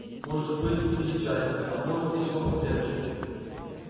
может быть пили чай а может и чего покрепче